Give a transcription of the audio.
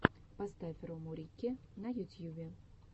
поставь рому рикки на ютьюбе